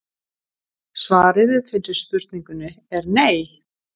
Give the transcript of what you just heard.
Svarið við fyrri spurningunni er nei!